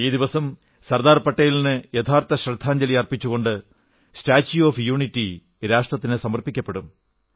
ഈ ദിവസം സർദാർ പട്ടേലിന് യഥാർഥ ശ്രദ്ധാഞ്ജലി അർപ്പിച്ചുകൊണ്ട് സ്റ്റാച്യൂ ഓഫ് യൂണിറ്റി രാഷ്ട്രത്തിന് സമർപ്പിക്കപ്പെടും